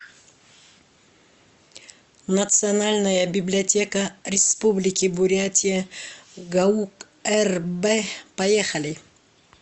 национальная библиотека республики бурятия гаук рб поехали